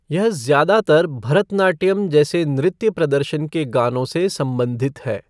यह ज्यादातर भरतनाट्यम जैसे नृत्य प्रदर्शन के गानों से संबंधित है।